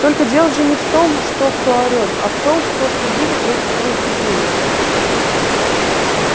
только дело же не в том что кто орет а в том кто что видит в этих произведениях